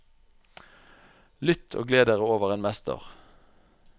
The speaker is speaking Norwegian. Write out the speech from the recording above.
Lytt og gled dere over en mester.